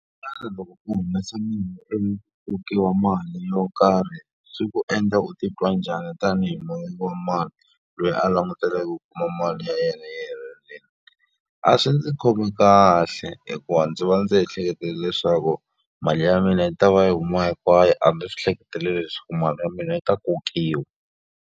loko u humesa kokiwa mali yo karhi swi ku endla u titwa njhani tanihi muveki wa mali loyi a langutaneke u kuma mali ya yena yi helerile. A swi ndzi khomi kahle, hikuva ndzi va ndzi ehleketa leswaku mali ya mina yi ta va yi huma hinkwayo. A ndzi swi hleketeleli leswaku mali ya mina yi ta kokiwa.